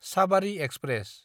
Sabari express